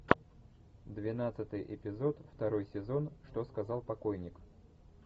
двенадцатый эпизод второй сезон что сказал покойник